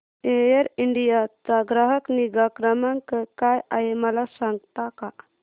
air India चा ग्राहक निगा क्रमांक काय आहे मला सांगता का